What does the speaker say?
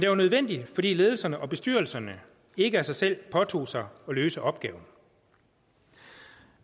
var nødvendig fordi ledelserne og bestyrelserne ikke af sig selv påtog sig at løse opgaven